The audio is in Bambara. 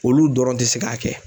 Olu dɔrɔn te se k'a kɛ.